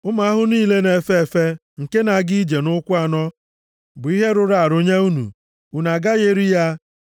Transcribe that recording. “ ‘Ụmụ ahụhụ niile na-efe efe nke na-aga ije nʼụkwụ anọ bụ ihe rụrụ arụ nye unu, unu agaghị eri ya.